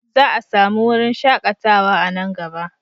Za a sami wurin shakatawa a nan gaba.